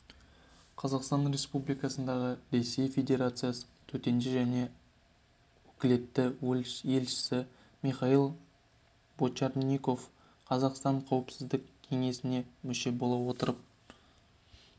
қазақстан республикасындағы ресей федерациясының төтенше және өкілетті елшісі михаил бочарников қазақстан қауіпсіздік кеңесіне мүше бола отырып